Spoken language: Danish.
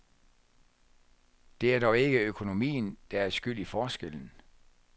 Det er dog ikke økonomien, der er skyld i forskellen.